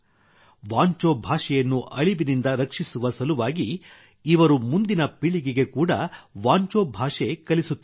ವಾಂಚೋ ಭಾಷೆಯನ್ನು ಅಳಿವಿನಿಂದ ರಕ್ಷಿಸುವ ಸಲುವಾಗಿ ಇವರು ಮುಂದಿನ ಪೀಳಿಗೆಗೆ ಕೂಡಾ ವಾಂಚೋ ಭಾಷೆ ಕಲಿಸುತ್ತಿದ್ದಾರೆ